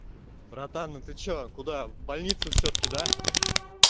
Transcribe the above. братаны ну ты что куда в больницу всё-таки да